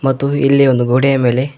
ಮತ್ತು ಇಲ್ಲಿ ಒಂದು ಗೋಡೆಯ ಮೇಲೆ--